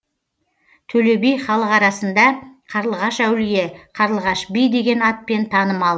төле би халық арасында қарлығаш әулие қарлығаш би деген атпен танымал